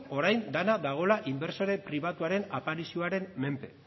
orain dena dagoela inbertsore pribatuaren aparizioaren menpe